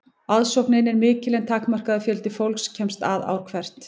aðsóknin er mikil en takmarkaður fjöldi fólks kemst að ár hvert